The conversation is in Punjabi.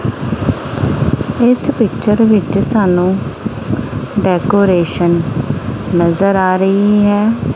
ਇੱਸ ਪਿਕਚਰ ਵਿੱਚ ਸਾਨੂੰ ਡੈਕੋਰੇਸ਼ਨ ਨਜ਼ਰ ਆ ਰਹੀ ਹੈ।